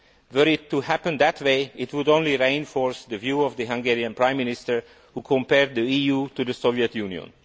Were it to happen that way, it would only reinforce the view of the Hungarian Prime Minister, who compared the EU to the Soviet Union.